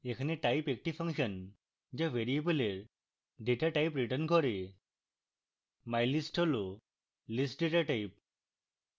এখানে type একটি function যা ভ্যারিয়েবলের datatype return করবে